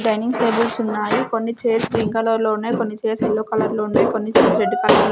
dining tables ఉన్నాయి కొన్ని chairs green colour లో ఉన్నాయ్ కొన్ని చైర్స్ యెల్లో కలర్ లో ఉన్నాయ్ కొన్ని చైర్స్ రెడ్ కలర్ లో --